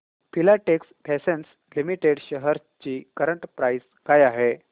Filatex Fashions Limited shares ची current price काय आहे